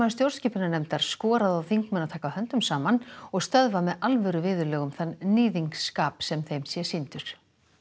stjórnskipunarnefndar skoraði á þingmenn að taka höndum saman og stöðva með alvöru viðurlögum þann sem þeim sé sýndur